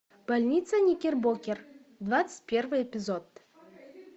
больница никербокер двадцать первый эпизод